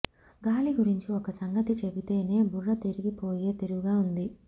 గాలి గురించి ఒక్క సంగతి చెపితేనే బుర్ర తిరిగిపోయే తీరుగా ఉంది